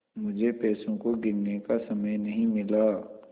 मुझे पैसों को गिनने का समय नहीं मिला